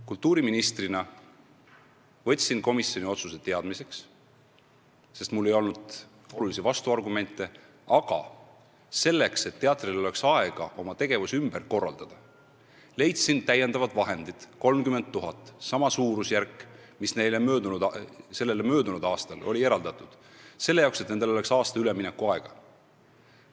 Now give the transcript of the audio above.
Kultuuriministrina võtsin ma komisjoni otsuse teadmiseks, sest mul ei olnud olulisi vastuargumente, aga selleks, et teatril oleks aega oma tegevus ümber korraldada, leidsin täiendava summa 30 000 eurot – sama suurusjärk, mis neile aasta varem oli eraldatud – selle jaoks, et neil oleks aasta üleminekuaega.